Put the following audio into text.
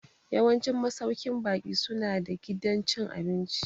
Yawancin masauƙin baƙi su na da gidan cin abinci